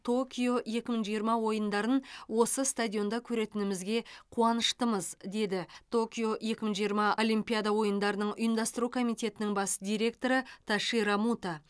токио екі мың жиырма ойындарын осы стадионда көретінімізге қуаныштымыз деді токио екі мың жиырма олимпиада ойындарының ұйымдастыру комитетінің бас директоры тоширо муто